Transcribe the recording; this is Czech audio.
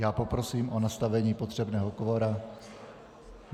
Já poprosím o nastavení potřebného kvora.